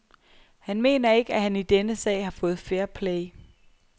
Han mener ikke, at han i denne sag har fået fair play.